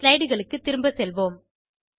slide களுக்கு திரும்பச் செல்வோம்